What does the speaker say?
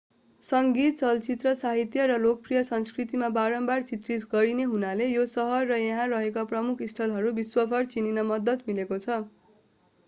सङ्गीत चलचित्र साहित्य र लोकप्रिय संस्कृतिमा बारम्बार चित्रित गरिने हुनाले यो सहर र यहाँ रहेका प्रमुख स्थलहरू विश्वभर चिनिन मद्दत मिलेको छ